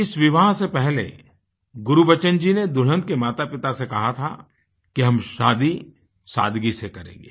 इस विवाह से पहले गुरबचन जी ने दुल्हन के मातापिता से कहा था कि हम शादी सादगी से करेंगे